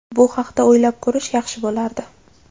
Bu haqda o‘ylab ko‘rish yaxshi bo‘lardi.